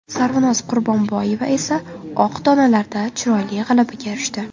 Sarvinoz Qurbonboyeva esa oq donalarda chiroyli g‘alabaga erishdi.